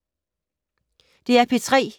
DR P3